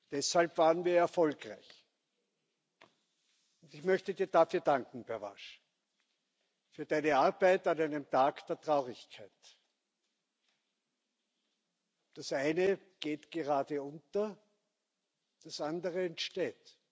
Deshalb waren wir erfolgreich. Und ich möchte Dir dafür danken, Pervenche, für Deine Arbeit an einem Tag der Traurigkeit. Das eine geht gerade unter, das andere entsteht.